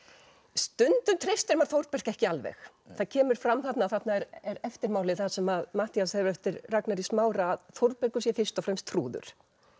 stundum treystir maður Þórbergi ekki alveg það kemur fram þarna að þarna er eftirmáli þar sem Matthías hefur eftir Ragnari í Smára að Þórbergur sé fyrst og fremst trúður